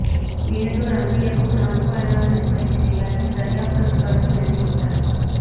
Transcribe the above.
దీనితో రంగయ్యకు narco analysis పరీక్ష చేయాలని దర్యాప్తు అధికారులు నిర్ణయించారు